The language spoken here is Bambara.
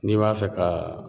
N'i b'a fɛ kaa